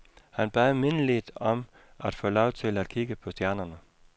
Han bad mindeligt om at få lov til at kigge på stjernerne.